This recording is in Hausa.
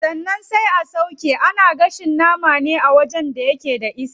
Daganan sai a sauƙe, ana gashin nama ne a wajen da yake da iska.